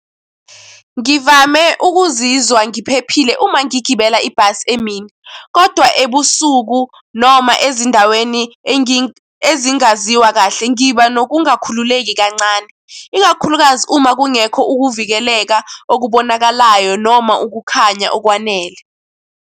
Ngivame ukuzizwa ngiphephile uma ngigibela ibhasi emini, kodwa ebusuku noma ezindaweni ezingaziwa kahle ngiba wokungakhululeki kancane, ikakhulukazi uma kungekho ukuvikeleka okubonakalayo noma ukukhanya okwanele.